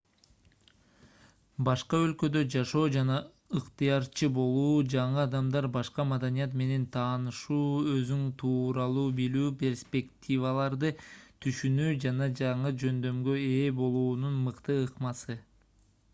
башка өлкөдө жашоо жана ыктыярчы болуу жаңы адамдар башка маданият менен таанышуу өзүң тууралуу билүү перспективаларды түшүнүү жана жаңы жөндөмгө ээ болуунун мыкты ыкмасы